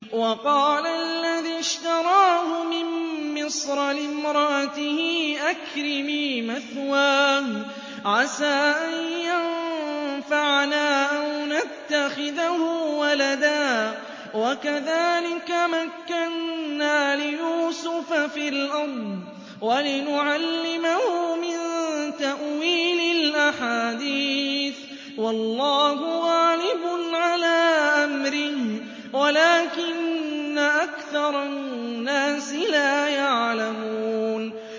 وَقَالَ الَّذِي اشْتَرَاهُ مِن مِّصْرَ لِامْرَأَتِهِ أَكْرِمِي مَثْوَاهُ عَسَىٰ أَن يَنفَعَنَا أَوْ نَتَّخِذَهُ وَلَدًا ۚ وَكَذَٰلِكَ مَكَّنَّا لِيُوسُفَ فِي الْأَرْضِ وَلِنُعَلِّمَهُ مِن تَأْوِيلِ الْأَحَادِيثِ ۚ وَاللَّهُ غَالِبٌ عَلَىٰ أَمْرِهِ وَلَٰكِنَّ أَكْثَرَ النَّاسِ لَا يَعْلَمُونَ